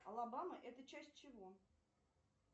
алабама это часть чего